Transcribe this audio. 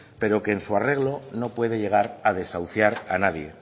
pero que en su arreglo no puede llegar a desahuciar a nadie